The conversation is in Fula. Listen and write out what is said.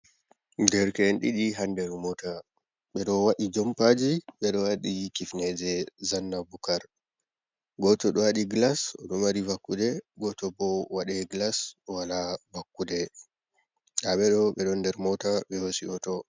Derke'en ɗiɗi ha nder mota, ɓe ɗo waɗi jompaji, ɓe ɗo waɗi kifneje zanna bukar. Goto ɗo waɗi glas, o ɗo mari vakkude, goto bo waɗai glas o wala vakkude. Nda ɓe ɗo ɓe ɗo nder mota, ɓe hosi hoto.